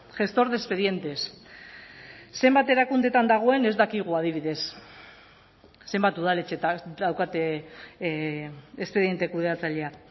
gestor de expedientes zenbat erakundeetan dagoen ez dakigu adibidez zenbat udaletxetan daukate espediente kudeatzailea